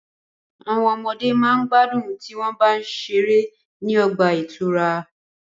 Àwọn ọmọde ma gbádùn tí wọ́n bá ń ṣeré ní ọgbà ìtura.